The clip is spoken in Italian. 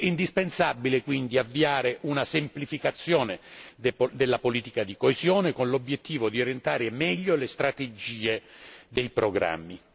È indispensabile quindi avviare una semplificazione della politica di coesione, con l'obiettivo di orientare meglio le strategie dei programmi.